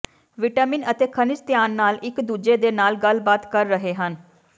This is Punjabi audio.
ਵਿਟਾਮਿਨ ਅਤੇ ਖਣਿਜ ਧਿਆਨ ਨਾਲ ਇਕ ਦੂਜੇ ਦੇ ਨਾਲ ਗੱਲਬਾਤ ਕਰ ਰਹੇ ਹਨ